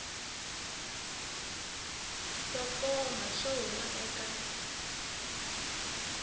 to koma swo huma eka